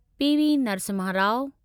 PV Narasimha Rau